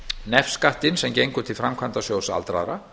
nefskattinn sem gengur til framkvæmdasjóðs aldraðra